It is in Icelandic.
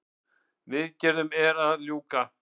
Viðgerðum að ljúka